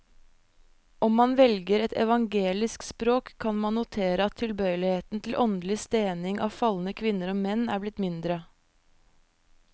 Om man velger et evangelisk språk, kan man notere at tilbøyeligheten til åndelig stening av falne kvinner og menn er blitt mindre.